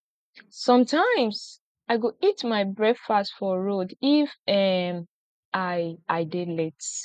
sometimes i go eat my breakfast for road if um i i dey late